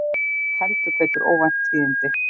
Heldur betur óvænt tíðindi